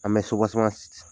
An bɛ